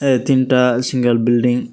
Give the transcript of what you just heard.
a tin tal single bilding.